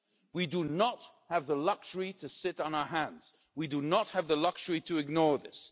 We do not have the luxury to sit on our hands. We do not have the luxury to ignore this.